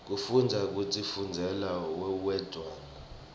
kufundza kutifundzela uwedwana